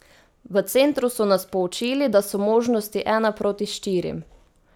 V Centru so nas poučili, da so možnosti ena proti štirim.